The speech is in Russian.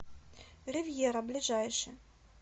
ривьера ближайший